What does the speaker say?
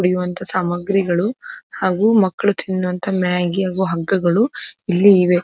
ಕುಡಿಯುವಂತ ಸಾಮಗ್ರಿಗಳು ಹಾಗು ಮಕ್ಕಳು ತಿನ್ನುವಂತ ಮ್ಯಾಗಿ ಹಾಗು ಹಗ್ಗಗಳು ಇಲ್ಲಿ ಇವೆ.